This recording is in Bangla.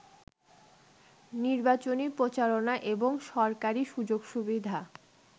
নির্বাচনী প্রচারণা এবং সরকারি সুযোগ-সুবিধা